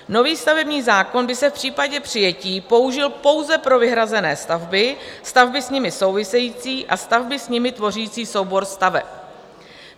Nový stavební zákon by se v případě přijetí použil pouze pro vyhrazené stavby, stavby s nimi související a stavby s nimi tvořící soubor staveb.